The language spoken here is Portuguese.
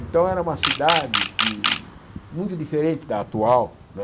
Então era uma cidade que, muito diferente da atual, não é?